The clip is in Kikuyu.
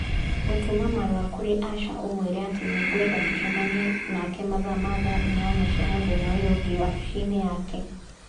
Gũtũma marũa kũrĩ Asha ũmũĩre atĩ nĩgwenda tũcemanie nake mathaa ma thaa inyanya cia mũthenya ũyũ ũngĩ wabici-inĩ yake.